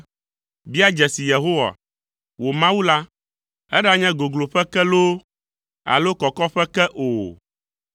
“Bia dzesi Yehowa, wò Mawu la. Eɖanye gogloƒe ke loo alo kɔkɔƒe ke o.”